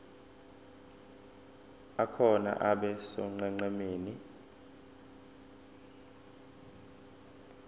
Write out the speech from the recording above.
akhona abe sonqenqemeni